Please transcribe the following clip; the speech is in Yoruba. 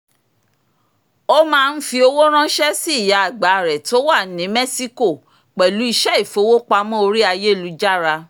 ó máa ń fi owó ránṣẹ́ sí ìyá àgbà rẹ̀ tó wà ní mẹ́síkò pẹ̀lú iṣẹ́ ìfowópamọ́ orí ayélujára